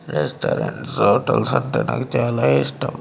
Restaurants hotels అంటే నాకు చాలా ఇష్టం.